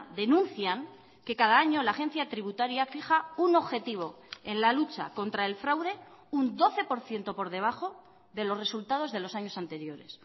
denuncian que cada año la agencia tributaria fija un objetivo en la lucha contra el fraude un doce por ciento por debajo de los resultados de los años anteriores